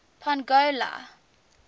pongola